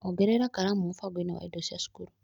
Ongerera karamu mũbango-inĩ wa indo cia cukuru.